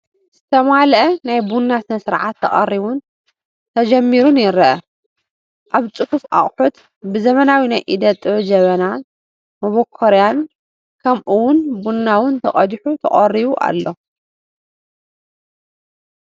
ዝተማልአ ናይ ቡና ስነ ስርዓት ተቐሪቡን ተጀሚሩን ይረአ፡፡ ኣብ ፅፉፍ ኣቕሑት፣ ብዘበናዊ ናይ ኢደ ጥበብ ጀበናን መቦኮርያን ከምኡ ውን ቡና ውን ተቐዲሑ ተቐሪቡ ኣሎ፡፡